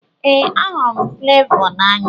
Ee, ahụrụ m Fulevoo n'anya.